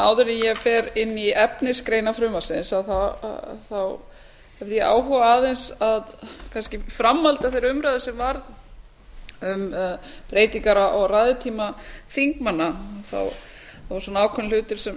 áður en ég fer inn í efnisgreinar frumvarpsins hef ég áhuga aðeins kannski í framhaldi af þeirri umræðu sem varð um breytingar á ræðutíma þingmanna voru ákveðnir hlutir sem